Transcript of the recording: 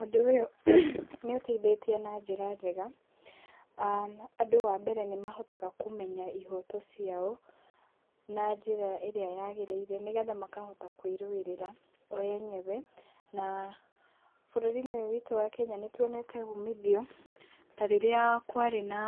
Ũndũ ũyũ nĩ ũteithĩtie na njĩra njega,[aah] andũ wa mbere nĩmahotaga kũmenya ihoto ciao na njĩra ĩrĩa yagĩrĩire, nĩgetha makahota kwĩrũĩrĩra o enyewe, na bũrũri-inĩ ũyũ witũ wa Kenya nĩtuonete umithio, ta rĩrĩa kwarĩ na